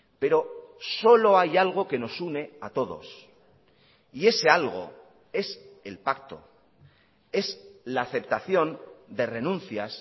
pero solo hay algo que nos une a todos y ese algo es el pacto es la aceptación de renuncias